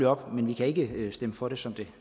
op men vi kan ikke stemme for det som det